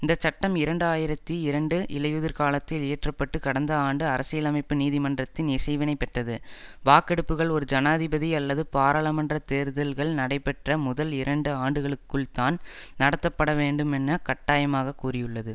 இந்த சட்டம் இரண்டாயிரத்தி இரண்டு இலையுதிர்காலத்தில் இயற்றப்பட்டு கடந்த ஆண்டு அரசியலமைப்பு நீதிமன்றத்தின் இசைவினைப் பெற்றது வாக்கெடுப்புக்கள் ஒரு ஜனாதிபதி அல்லது பாராளுமன்ற தேர்தல்கள் நடைபெற்ற முதல் இரண்டு ஆண்டுகளுக்குள்தான் நடத்தப்படவேண்டும் என்னக் கட்டாயமாகக் கூறியுள்ளது